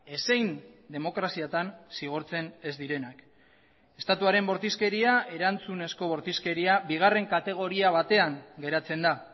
ezein demokraziatan zigortzen ez direnak estatuaren bortizkeria erantzunezko bortizkeria bigarren kategoria batean geratzen da